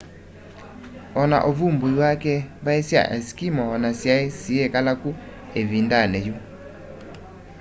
ona uvumbui wake mbai sya eskimo ona syai siyikala ku ivindani yu